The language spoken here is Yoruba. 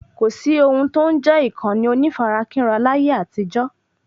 kòsí ohun tó n jẹ́ ìkànnì onífarakínra láyé àtijó